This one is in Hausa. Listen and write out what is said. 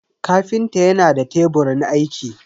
kafinta yana da teburin aiki.